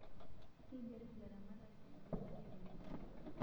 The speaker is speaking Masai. Keiger ilaramatak enkesare enye